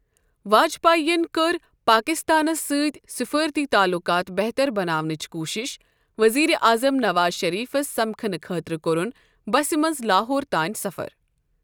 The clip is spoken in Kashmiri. واجپاین کٔر پٲکِستانس سۭتۍ سِفٲرتی تعلُقات بہتر بناونٕچ کوٗشِش، ؤزیٖر اعظم نَواز شٔریٖفس سمکٕھنہٕ خٲطرٕ کوٚرُن بسہِ منٛز لاہور تانۍ سفر۔